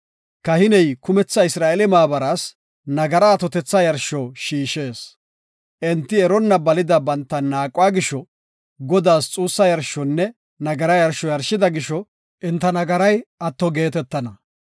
Kahiney kumetha Isra7eele maabaraas nagara atotetha yarsho shiishees. Enti eronna balida banta naaquwa gisho Godaas xuussa yarshonne nagara yarsho yarshida gisho enta nagaray atto geetetana.